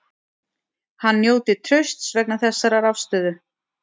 Hann njóti trausts vegna þessarar afstöðu